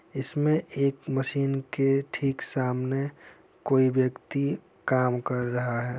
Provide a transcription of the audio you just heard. इसमे एक मशीन के ठीक सामने कोई व्यक्ति काम कर रहा है ।